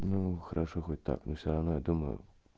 ну хорошо хоть так ну всё равно я думаю